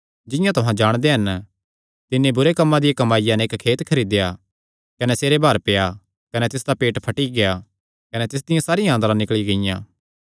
जिंआं तुहां जाणदे हन तिन्नी बुरे कम्मां दिया कमाईया नैं इक्क खेत खरीदेया कने सिरे भार पेआ कने तिसदा पेट फटी गेआ कने तिसदियां सारियां आंन्द्रा निकल़ी गियां